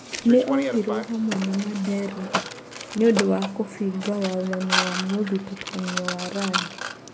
Nĩ- ohirwo hamwe na Mandera nĩ ũndũwa kũbinga wathani wa mũthutũkanio wa rangi.